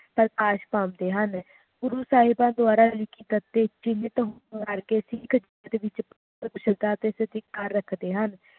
ਪ੍ਰਕਾਸ਼ ਪਾਉਂਦੇ ਹਨ ਗੁਰੂ ਸਾਹਿਬਾਨ ਦੁਆਰਾ ਲਿਖਿਤ ਅਤੇ ਸਿੱਖ ਧਰਮ ਦੇ ਵਿਚ ਕੁਸ਼ਲਤਾ ਅਤੇ ਸਤਿਕਾਰ ਰੱਖਦੇ ਹਨ